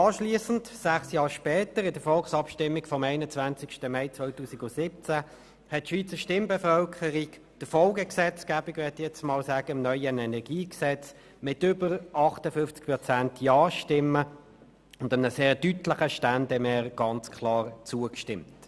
Sechs Jahre später, im Rahmen der Volksabstimmung vom 21. Mai 2017, stimmte die Schweizer Stimmbevölkerung der Folgegesetzgebung im neuen Energiegesetz mit über 58 Prozent Ja-Stimmen und einem sehr deutlichen Ständemehr klar zu.